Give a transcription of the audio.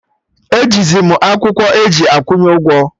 E ji zi mụ akwụkwọ eji akwụnye ụgwọ